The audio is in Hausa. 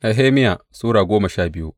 Nehemiya Sura goma sha biyu